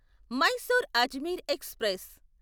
Mysore Ajmer express